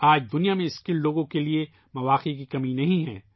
آج دنیا میں ہنر مند افراد کے لیے مواقع کی کمی نہیں ہے